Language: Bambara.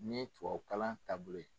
Ni ye tubabukalan taabolo ye.